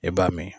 E b'a min